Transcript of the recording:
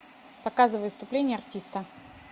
показывай выступление артиста